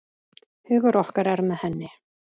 Hugur okkar er með henni.